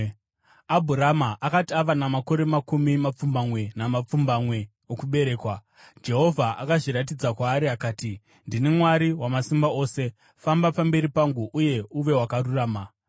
Abhurama akati ava namakore makumi mapfumbamwe namapfumbamwe okuberekwa, Jehovha akazviratidza kwaari akati, “Ndini Mwari Wamasimba Ose; famba pamberi pangu uye uve wakarurama.